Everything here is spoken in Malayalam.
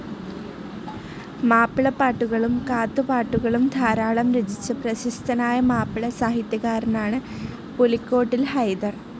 മാപ്പിളപ്പാട്ടുകളും കാത്തുപാട്ടുകളും ധാരാളം രചിച്ച പ്രശസ്തനായ മാപ്പിള സാഹിത്യകാരനാണ് പുലിക്കോട്ടിൽ ഹൈദർ.